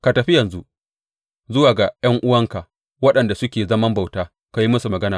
Ka tafi yanzu zuwa ga ’yan’uwanka waɗanda suke zaman bauta ka yi musu magana.